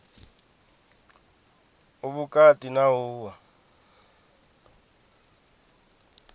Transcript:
u vhukati na u oa